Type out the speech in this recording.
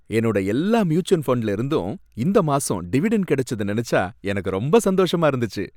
என்னோட எல்லா மியூச்சுவல் ஃபண்டுலயிருந்தும் இந்த மாசம் டிவிடெண்ட் கிடைச்சத நெனச்சா எனக்கு ரொம்ப சந்தோஷமா இருந்துச்சு.